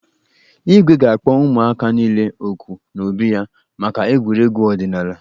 Igwe ga-akpo ụmụaka niile òkù n'obi ya maka egwuregwu ọdịnaala.